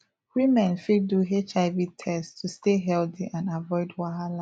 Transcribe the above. women fit do hiv test to stay healthy and avoid wahala